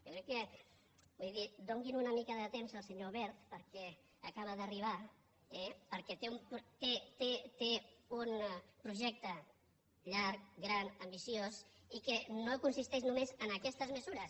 jo crec vull dir donin una mica de temps al senyor wert perquè acaba d’arribar eh perquè té un projecte llarg gran ambiciós i que no consisteix només en aquestes mesures